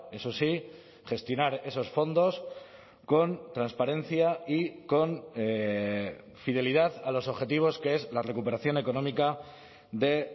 eso sí gestionar esos fondos con transparencia y con fidelidad a los objetivos que es la recuperación económica de